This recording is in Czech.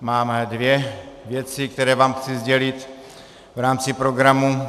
Máme dvě věci, které vám chci sdělit v rámci programu.